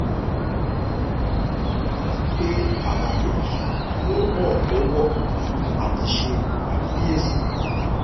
retí pé àlàyé yìí yóò ràn ọ́ lọ́wọ́ àti ṣe àkíyèsí.